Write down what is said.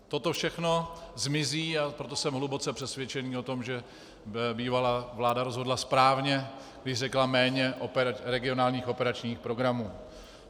Toto všechno zmizí, a proto jsem hluboce přesvědčen o tom, že bývalá vláda rozhodla správně, když řekla méně regionálních operačních programů.